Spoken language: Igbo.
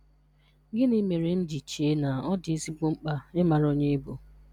Gịnị mere m ji chee na ọ dị ezigbo mkpa ịmara onye ị bụ?